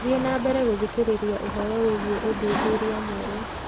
Thiĩ na mbere gũthikĩrĩria ũhoro wĩgiĩ ũthuthuria mwerũ